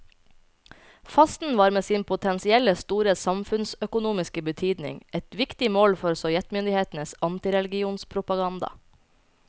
Fasten var med sin potensielt store samfunnsøkonomiske betydning et viktig mål for sovjetmyndighetenes antireligionspropaganda.